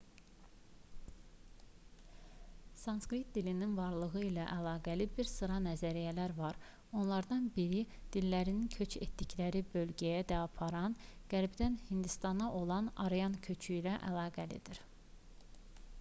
sanskrit dilinin varlığı ilə əlaqəli bir sıra nəzəriyyələr var onlardan biri dillərini köç etdikləri bölgəyə də aparan qərbdən hindistana olan aryan köçü ilə əlaqəlidir